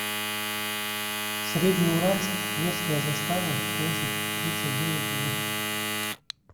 среднеуральск тверская застава площадь тридцать девять в